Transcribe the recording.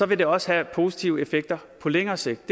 vil det også have positive effekter på længere sigt